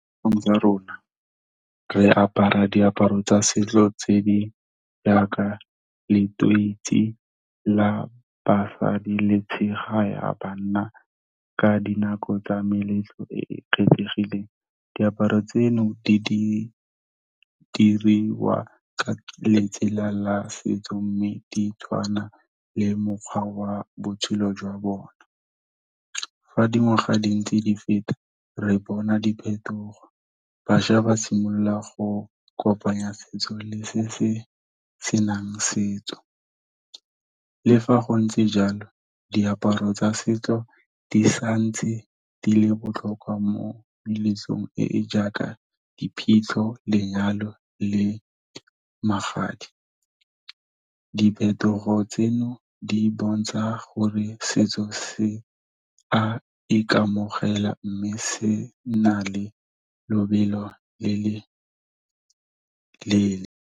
Tsa rona re apara diaparo tsa setso tse di jaaka letoisi la basadi le tshega ya banna ka dinako tsa meletlo e e kgethegileng. Diaparo tseno di diriwa ka letsela la setso, mme di tshwana le mokgwa wa botshelo jwa bone. Fa dingwaga di ntse di feta re bona diphetogo, bašwa ba simolola go kopanya setso le se se senang setso. Le fa go ntse jalo, diaparo tsa setso di sa ntse di le botlhokwa mo meletlong e e jaaka, diphitlho, lenyalo le magadi. Diphetogo tseno di bontsha gore setso se a ikamogela mme se nna le lobelo le le leele.